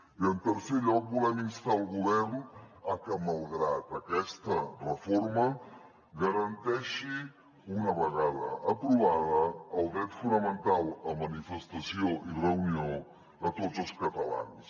i en tercer lloc volem instar el govern a que malgrat aquesta reforma garanteixi una vegada aprovada el dret fonamental a manifestació i reunió a tots els catalans